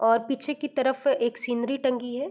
और पीछे की तरफ एक सीनरी टंगी है।